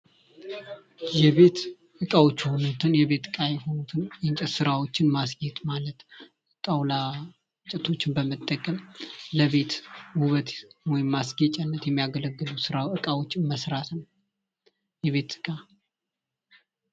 የቤት እቃዎች የሆኑትን የቤት እቃዎች የሆኑትን የእንጨት ስራ ጣውላ እንጨቶችን በመጠቀም ለቤት ውበት ወይም ማስጌጫነት የሚያገለግሉ እቃዎች መስራት የቤት እቃ